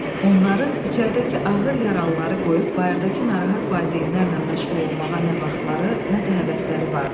Onların içəridəki ağır yaralıları qoyub bayırdakı narahat valideynlərlə məşğul olmağa nə vaxtları, nə də həvəsləri vardı.